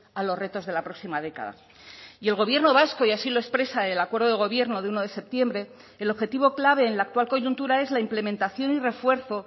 a los retos de la próxima década y el gobierno vasco y así lo expresa el acuerdo de gobierno de uno de septiembre el objetivo clave en la actual coyuntura es la implementación y refuerzo